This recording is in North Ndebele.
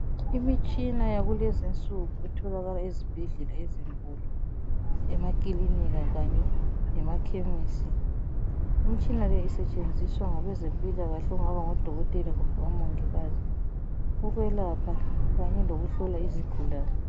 Imitshina yakulezinsuku etholakala ezibhedlela ezinkulu lemakilinika kanye lemakhemisi, imitshina le isetshenziswa ngabezempilakahle okungaba ngodokotela kumbe omongikazi ukwelapha kanye lokuhlola izigulane.